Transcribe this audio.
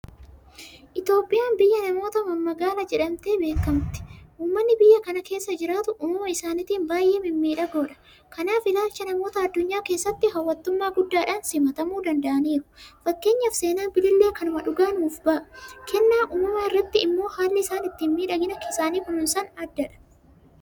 Itoophiyaan biyya namoota mammagaalaa jedhamtee beekamti. Uummanni biyya kana keessa jiraatu uumama isaaniitiin baay'ee mimmiidhagoodha. Kanaaf ilaalcha namoota addunyaa keessatti hawwattummaa guddaadhaan simatamuu danda'aniiru. Fakkeenyaaf seenaan Bilillee kanuma dhugaa nuuf ba'aa. Kennaa uumamaa irratti immoo haalli isaan ittiin miidhagina isaanii kunuunsan addadha.